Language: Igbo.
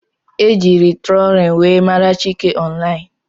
Ejiri trólin wee mara Chike ọnlain.